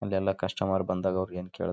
ಜನರಿಗೆ ಅಗತ್ಯವಿರುವ ಎಲ್ಲಾ ದಿನಸಿ ಐಟಂಗಳು .